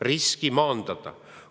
Riski maandada!